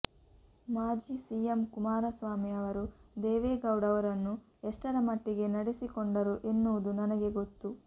ಮಾಜಿ ಸಿಎಂ ಕುಮಾರಸ್ವಾಮಿ ಅವರು ದೇವೇಗೌಡ ಅವರನ್ನು ಎಷ್ಟರ ಮಟ್ಟಿಗೆ ನಡೆಸಿಕೊಂಡರು ಎನ್ನುವುದು ನನಗೆ ಗೊತ್ತು